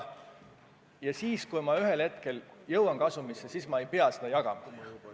Ja kui ma ühel hetkel jõuan kasumisse, siis ma ei pea seda jagama.